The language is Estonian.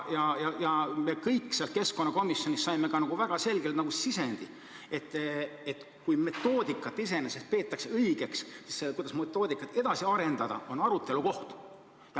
Me kõik saime keskkonnakomisjonis ka väga selge sisendi, et metoodikat iseenesest peetakse õigeks, aga see, kuidas metoodikat edasi arendada, on arutelukoht.